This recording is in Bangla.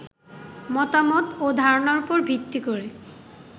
মতামত ও ধারণার ওপর ভিত্তি করে